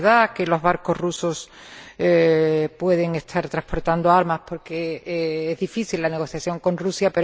Es verdad que los barcos rusos pueden estar transportando armas, porque es difícil la negociación con Rusia.